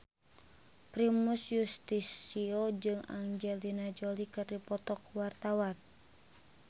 Primus Yustisio jeung Angelina Jolie keur dipoto ku wartawan